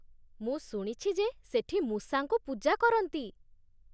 ମୁଁ ଶୁଣିଛି ଯେ ସେଠି ମୂଷାଙ୍କୁ ପୂଜା କରନ୍ତି!